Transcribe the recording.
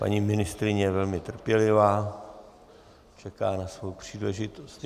Paní ministryně je velmi trpělivá, čeká na svou příležitost.